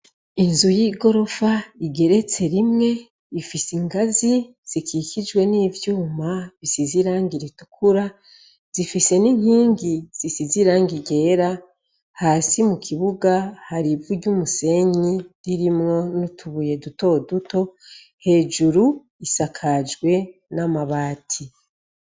Inzu igeretse rimwe Ifise ingazi zikikijwe nivyuma risize irangi ritukura zifise ninkingi zisize Irangi ryera ,hasi mukibuga hari ivu ryumusenyi nutubuye duto duto hejuru isasakajwe namabati.